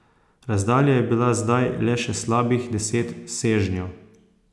Razdalja je bila zdaj le še slabih deset sežnjev.